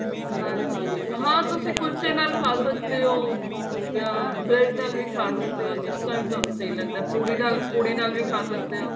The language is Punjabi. ਹਾਂਜੀ ਹਾਂ ਤੁਸੀਂ ਕੁੱਲਚੇ ਨਾਲ ਖਾਹ ਸਕਦੇ ਹੋ ਜਾਂ bread ਨਾਲ ਵੀ ਖਾਹ ਸਕਦੇ ਹੋ ਜਿਸ ਨਾਲ ਤੁਹਾਨੂੰ ਸਹੀਂ ਲੱਗਦਾ ਪੁੜੀ ਨਾਲ ਪੁੜੀ ਨਾਲ ਵੀ ਖਾਹ ਸਕਦੇ ਹੋ